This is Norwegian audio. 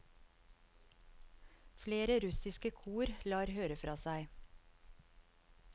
Flere russiske kor lar høre fra seg.